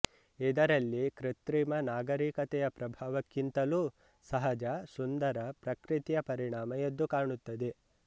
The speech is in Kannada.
ಇದರಲ್ಲಿ ಕೃತ್ರಿಮ ನಾಗರಿಕತೆಯ ಪ್ರಭಾವಕ್ಕಿಂತಲೂ ಸಹಜ ಸುಂದರ ಪ್ರಕೃತಿಯ ಪರಿಣಾಮ ಎದ್ದುಕಾಣುತ್ತದೆ